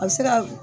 A bɛ se ka